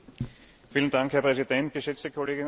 Herr Präsident, geschätzte Kolleginnen und Kollegen!